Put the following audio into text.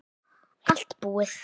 Allt búið